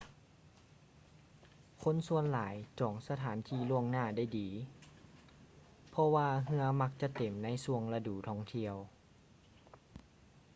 ຄົນສ່ວນຫຼາຍຈອງສະຖານທີ່ລ່ວງໜ້າໄດ້ດີ ເພາະວ່າເຮືອມັກຈະເຕັມໃນຊ່ວງລະດູທ່ອງທຽວ